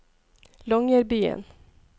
Longyearbyen